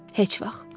Heç vaxt!